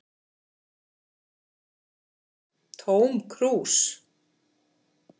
Tóm krús